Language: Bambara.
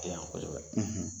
Tɛ yan kosɛbɛ